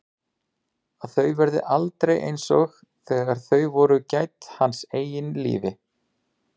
Að þau verði aldrei einsog þegar þau voru gædd hans eigin lífi.